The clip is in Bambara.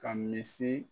Ka misi